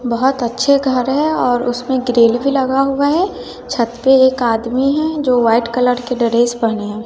बहोत अच्छे घर है और उसमें ग्रिल भी लगा हुआ है छत पे एक आदमी है जो व्हाइट कलर के ड्रेस पेहने है।